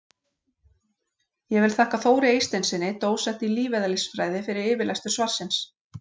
Ég vil þakka Þóri Eysteinssyni, dósent í lífeðlisfræði, fyrir yfirlestur svarsins.